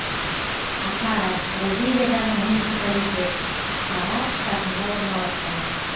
акара бразилиядағы муниципалитет пара штатында орналасқан